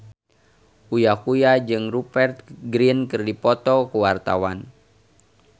Uya Kuya jeung Rupert Grin keur dipoto ku wartawan